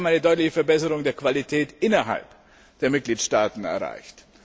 Wir haben eine deutliche Verbesserung der Qualität innerhalb der Mitgliedstaaten erreicht.